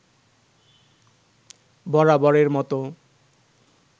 বরাবরের মতো